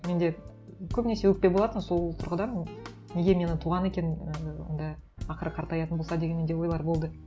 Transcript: менде көбінесе өкпе болатын сол тұрғыдан неге мені туған екен ііі онда ақыры қартаятын болса деген менде ойлар болды